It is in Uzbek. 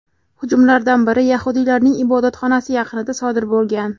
Hujumlardan biri yahudiylarning ibodatxonasi yaqinida sodir bo‘lgan.